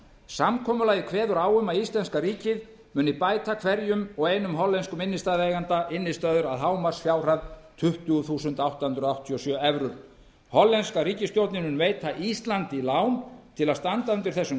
samkomulagið kveður á um að íslenska ríkið muni bæta hverjum og einum hollenskum innstæðueiganda innistæður að hámarksfjárhæð tuttugu þúsund átta hundruð áttatíu og sjö evrur hollenska ríkisstjórnin mun veita íslandi lán til að standa undir þessum